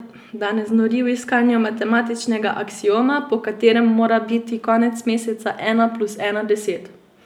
Da ne znori v iskanju matematičnega aksioma, po katerem mora biti konec meseca ena plus ena deset.